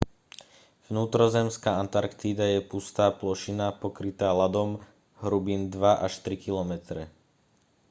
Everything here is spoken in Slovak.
vnútrozemská antarktída je pustá plošina pokrytá ľadom hrubým 2 až 3 kilometre